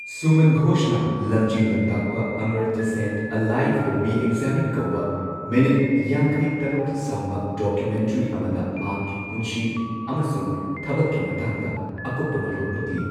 ꯁꯨꯃꯟ ꯘꯣꯁꯅ ꯂꯝꯖꯤꯡ ꯂꯝꯇꯥꯛꯄ Amartya Sen a life reexamined ꯀꯧꯕ ꯃꯤꯅꯤꯠ ꯌꯥꯡꯈꯩ ꯇꯔꯨꯛ ꯁꯥꯡꯕ ꯗꯣꯀꯨꯃꯦꯟꯇꯔꯤ ꯑꯃꯗ ꯃꯍꯥꯛꯀꯤ ꯄꯨꯟꯁꯤ ꯑꯃꯁꯨꯡ ꯊꯕꯛꯀꯤ ꯃꯇꯥꯡꯗ ꯑꯀꯨꯞꯄ ꯃꯔꯣꯜ ꯎꯠꯂꯤ꯫